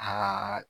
Aa